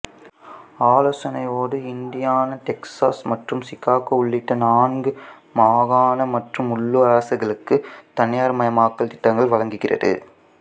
ஆலோசனையோடு Indiana Texas மற்றும் Chicago உள்ளிட்ட நான்கு மாகாண மற்றும் உள்ளூர் அரசுகளுக்கு தனியார்மயமாக்கல் திட்டங்களை வழங்குகிறது